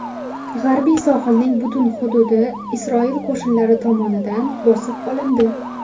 G‘arbiy sohilning butun hududi Isroil qo‘shinlari tomonidan bosib olindi.